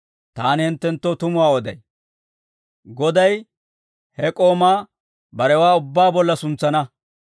Taani hinttenttoo tumuwaa oday; goday he k'oomaa barewaa ubbaa bolla suntsana.